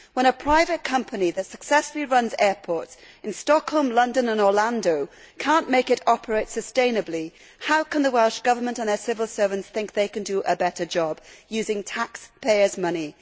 When a private company that successfully runs airports in Stockholm, London and Orlando cannot make it operate sustainably, how can the Welsh Government and their civil servants think they can do a better job using taxpayers' money?